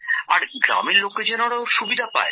আর গ্রামের লোকজনেরো সুবিধা হয়